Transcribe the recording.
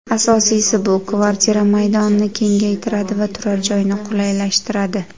Asosiysi, bu kvartira maydonini kengaytiradi va turar joyni qulaylashtiradi.